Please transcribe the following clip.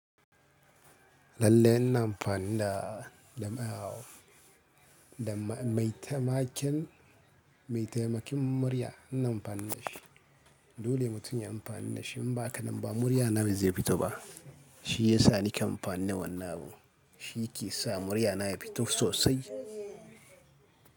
Lallai ina amfana da, da maitamakin, maitamakin murya ina amfana da shi. Dole mutum ya amfana da shi in ba haka ba muryana ba zai fito ba. Shi yasa nake amfani da wannan abu, shi ke sa muryana ya fito sosai.